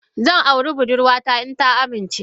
Zan aure budurwata idan ta amince.